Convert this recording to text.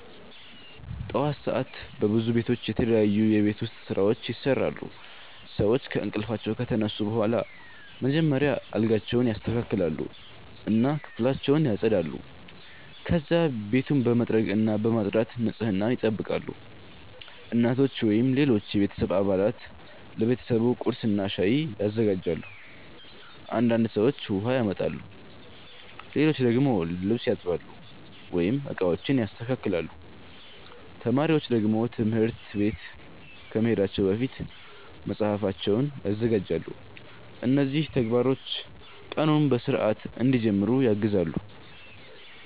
ጠዋት ሰዓት በብዙ ቤቶች የተለያዩ የቤት ውስጥ ስራዎች ይሰራሉ። ሰዎች ከእንቅልፋቸው ከተነሱ በኋላ መጀመሪያ አልጋቸውን ያስተካክላሉ እና ክፍላቸውን ያጸዳሉ። ከዚያ ቤቱን በመጥረግና በማጽዳት ንጽህናን ይጠብቃሉ። እናቶች ወይም ሌሎች የቤተሰብ አባላት ለቤተሰቡ ቁርስና ሻይ ያዘጋጃሉ። አንዳንድ ሰዎች ውሃ ያመጣሉ፣ ሌሎች ደግሞ ልብስ ያጥባሉ ወይም ዕቃዎችን ያስተካክላሉ። ተማሪዎች ደግሞ ትምህርት ቤት ከመሄዳቸው በፊት መጽሐፋቸውን ያዘጋጃሉ። እነዚህ ተግባሮች ቀኑን በሥርዓት እንዲጀምሩ ያግዛሉ።